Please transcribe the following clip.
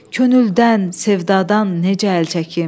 Könüldən, sevdadan necə əl çəkim?